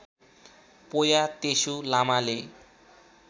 पोया तेसु लामाले